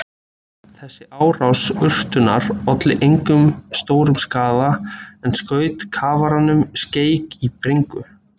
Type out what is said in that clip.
Þessi árás urtunnar olli engum stórum skaða en skaut kafaranum skelk í bringu.